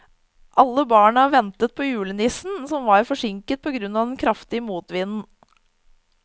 Alle barna ventet på julenissen, som var forsinket på grunn av den kraftige motvinden.